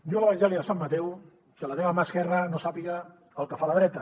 diu l’evangeli de sant mateu que la teva mà esquerra no sàpiga el que fa la dreta